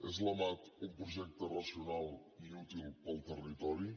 és la mat un projecte racional i útil per al territori